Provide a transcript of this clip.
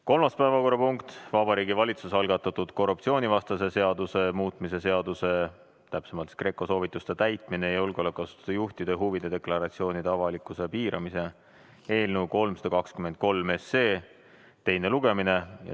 Kolmas päevakorrapunkt, Vabariigi Valitsuse algatatud korruptsioonivastase seaduse muutmise seaduse, täpsemalt GRECO soovituste täitmise ja julgeolekuasutuste juhtide huvide deklaratsioonide avalikkuse piiramise eelnõu 323 teine lugemine.